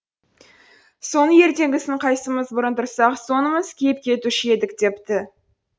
соны ертеңгісін қайсымыз бұрын тұрсақ сонымыз киіп кетуші едік депті